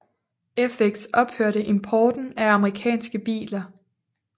Fx ophørte importen af amerikanske biler